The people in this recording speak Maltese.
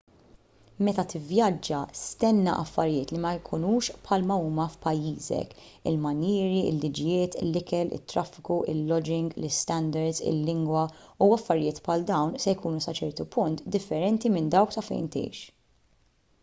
meta tivvjaġġa stenna affarijiet li ma jkunux bħal ma huma f'pajjiżek il-manjieri il-liġijiet l-ikel it-traffiku il-loġing l-istandards il-lingwa u affarijiet bħal dawn se jkunu sa ċertu punt differenti minn dawk ta' fejn tgħix